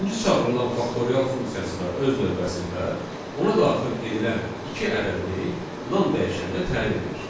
Üçüncü çağırılan faktorial funksiyası da öz növbəsində ona daxil edilən iki ədədini nan dəyişəninə təyin edir.